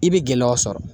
I bɛ gɛlɛyaw sɔrɔ